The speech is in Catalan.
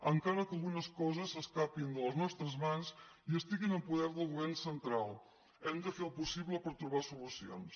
encara que algunes coses s’escapin de les nostres mans i estiguin en poder del govern central hem de fer el possible per trobar solucions